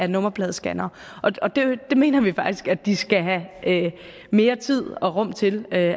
nummerpladescannere vi mener faktisk at de skal have mere tid og rum til at